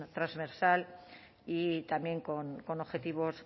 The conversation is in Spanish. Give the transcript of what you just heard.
transversal y también con objetivos